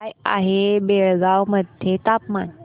काय आहे बेळगाव मध्ये तापमान